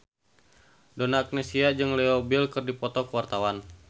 Donna Agnesia jeung Leo Bill keur dipoto ku wartawan